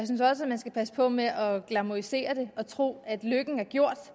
man skal passe på med at glamourisere det og tro at lykken er gjort